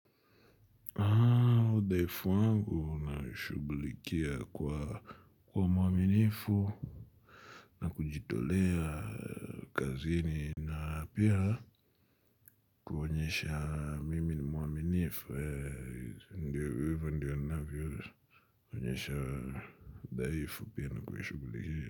Dhaifu wangu naishugulikia kwa mwaminifu. Na kujitolea kazini. Na pia kuonyesha mimi ni mwaminifu ndiyo ndiyo ndiyo navyo. Kuonyesha dhaifu pia na kwa shugulikia.